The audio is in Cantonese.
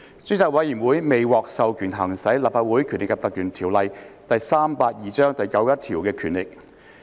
專責委員會未獲授權行使《立法會條例》第91條的權力。